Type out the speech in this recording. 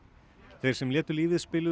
þeir sem létu lífið spiluðu